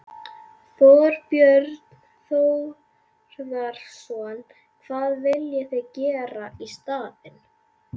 Þorbjörn Þórðarson: Hvað viljið þið gera í staðinn?